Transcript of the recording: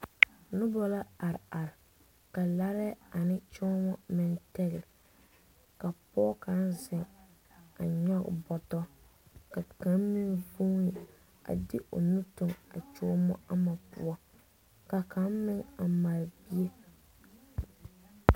Nobɔ la are are ka laare ane kyooma meŋ tɛgle ka pɔge kaŋ zeŋ a nyɔge boto ka kaŋa meŋ vuuni a de o nu toŋ a kyooma ama poɔ ka kaŋ meŋ a mare bie.